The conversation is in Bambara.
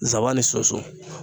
Zaban ni sunsun